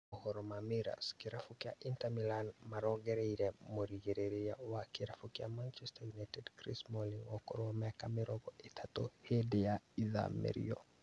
Mohoro ma mirrors, kĩrabu kĩa Inter Milan marongoreirie mũrigĩrĩria wa kĩrabu kĩa Manchester United Chris Smalling wa ũkũrũ wa mĩaka mĩrongo ĩtatũ hĩndĩ ya ithamĩrio